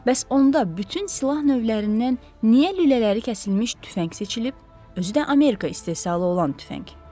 Bəs onda bütün silah növlərindən niyə lülələri kəsilmiş tüfəng seçilib, özü də Amerika istehsalı olan tüfəng?